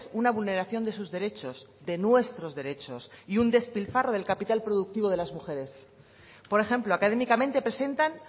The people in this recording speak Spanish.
una vulneración de sus derechos de nuestros derechos y un despilfarro del capital productivo de las mujeres por ejemplo académicamente presentan